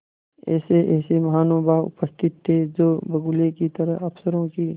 ऐसेऐसे महानुभाव उपस्थित थे जो बगुलों की तरह अफसरों की